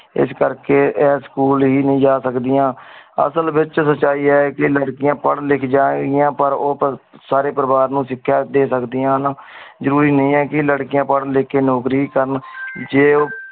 ਇਸ ਕਰ ਕੀ ਆਯ school ਹੀ ਨੀ ਜਾ ਸਕਦੀਆਂ। ਅਸਲ ਵਿਚ ਸੱਚਾਈ ਏ ਆ ਕੇ ਲੜਕੀਆਂ ਪਡ਼ ਲਿਖ ਜਾਏ ਪਰ ਓ ਸਾਰੇ ਪਰਿਵਾਰ ਨੂੰ ਸਿਖਿਆ ਦੇ ਸਕਦੀਆਂ ਹਨ ਜਰੂਰੀ ਨੀ ਆ ਕੇ ਲੜਕੀਆਂ ਪਡ਼ ਲਿਖ ਕੇ ਨੌਕਰੀ ਹੀ ਕਰਨ ਜੇ ਓ